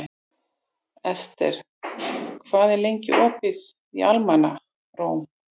Esther, hvað er lengi opið í Almannaróm?